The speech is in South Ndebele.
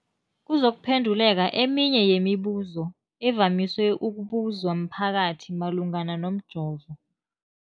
kuzokuphe nduleka eminye yemibu zo evamise ukubuzwa mphakathi malungana nomjovo.